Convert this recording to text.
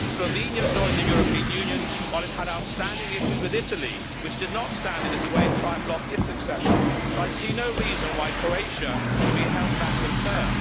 Slovenia joined the European Union while it still had outstanding issues with Italy, which did not stand in its way and try and block its accession, so I see no reason why Croatia should be held back in turn.